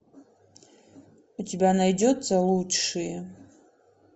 у тебя найдется лучшие